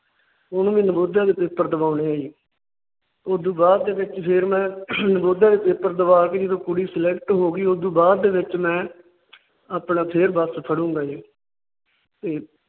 ਉਹਨੂੰ ਵੀ ਨਵੋਦਿਆ ਦੇ ਪੇਪਰ ਦਵਾਉਣੇ ਸੀ। ਉਸ ਤੋਂ ਬਾਅਦ ਦੇ ਵਿਚ ਫਿਰ ਮੈਂ ਨਵੋਦਿਆ ਦੇ ਪੇਪਰ ਦਵਾ ਕੇ ਜਦੋ ਕੁੜੀ Select ਹੋ ਗਈ। ਉਸ ਤੋਂ ਬਾਅਦ ਦੇ ਵਿੱਚ ਮੈਂ ਆਪਣਾ ਫਿਰ ਬੱਸ ਫੜ੍ਹਉਂਗਾ ਜੀ। ਤੇ